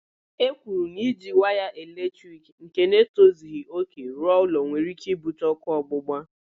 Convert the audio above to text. E kwuru na iji waya eletrik nke na-etozighi òkè rụọ ụlọ were ike ibute ókụ́ ọgbụgba.